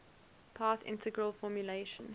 path integral formulation